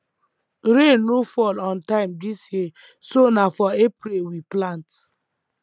rain no fall on time dis year so na for april we plant